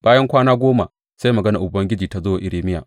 Bayan kwana goma sai maganar Ubangiji ta zo wa Irmiya.